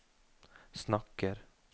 snakker